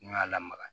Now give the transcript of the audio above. N'i y'a lamaga